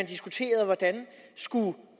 diskuterede hvordan